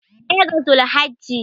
daya ga zulhajji